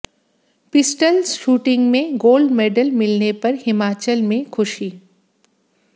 pistol shooting में gold medal मिलने पर हिमाचल में खुशी